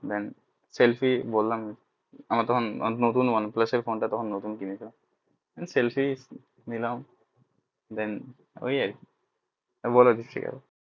Thenselfie বললাম আমার তখন one plus এর phone টা নতুন কিনেছিলাম selfie নিলাম then ওই আরকি